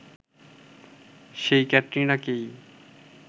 সেই ক্যাটরিনাকেই